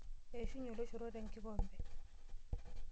Eishunye oloshoro te nkikompe.